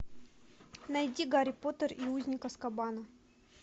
найди гарри поттер и узник азкабана